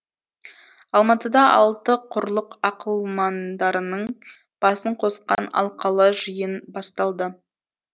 алматыда алты құрлық ақылмандарының басын қосқан алқалы жиын басталды